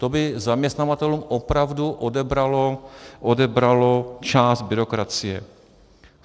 To by zaměstnavatelům opravdu odebralo část byrokracie.